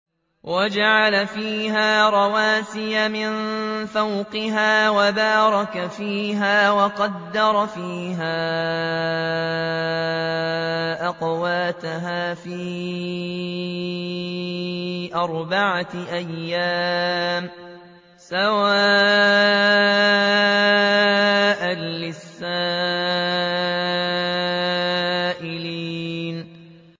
وَجَعَلَ فِيهَا رَوَاسِيَ مِن فَوْقِهَا وَبَارَكَ فِيهَا وَقَدَّرَ فِيهَا أَقْوَاتَهَا فِي أَرْبَعَةِ أَيَّامٍ سَوَاءً لِّلسَّائِلِينَ